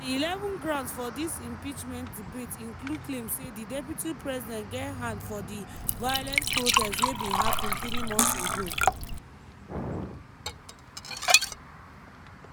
di eleven grounds for dis impeachment debate include claim say di deputy president get hand for di violent protest wey bin happun three months ago.